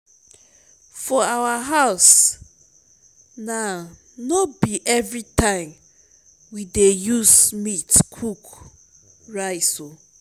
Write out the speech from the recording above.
for our house now no be everytime we dey use meat cook rice oo